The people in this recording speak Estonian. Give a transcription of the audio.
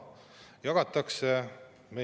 Tuleb lugeda huultelt, et maksud ei tõuse.